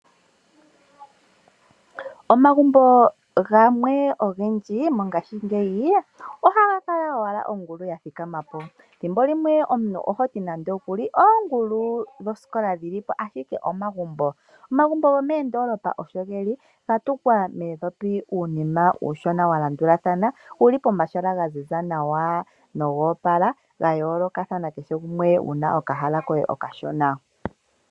Omagumbo gamwe ogendji mongashingeyi ohaga kala owala ongulu ya thikama po. Thimbo limwe omuntu oho ti nande okuli oongulu dhosikola dhi li po, ashike omagumbo. Omagumbo gomoondoolopa osho ge li ga tungwa muundhopi uunima uushona wa landulathana, wu li pomahala ga ziza nawa noga opala wa yoolokathana kehe gumwe wu na okahala koye okashona.